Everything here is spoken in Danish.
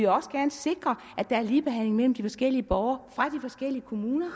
også gerne sikre at der er ligebehandling mellem forskellige borgere fra forskellige kommuner